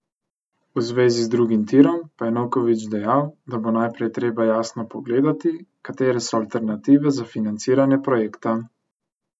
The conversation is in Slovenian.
V zvezi z drugim tirom pa je Novković dejal, da bo najprej treba jasno pogledati, katere so alternative za financiranje projekta.